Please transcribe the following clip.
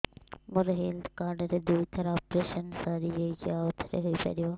ମୋର health card ରେ ଦୁଇ ଥର ଅପେରସନ ସାରି ଯାଇଛି ଆଉ ଥର ହେଇପାରିବ